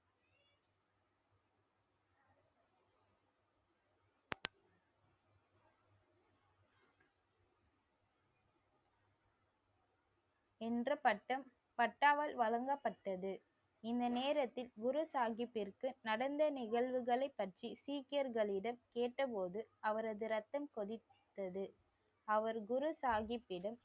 என்ற பட்டம் பட்டாவால் வழங்கப்பட்டது. இந்த நேரத்தில் குரு சாகிப்பிற்கு, நடந்த நிகழ்வுகளைப் பற்றி சீக்கியர்களிடம் கேட்டபோது அவரது ரத்தம் கொதித்தது. அவர் குரு சாகிப்பிடம்